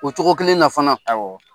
O cogo kelen na fana .